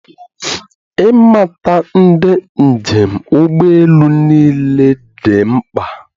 Ịmata ndị njem ụgbọ elu niile dị mkpa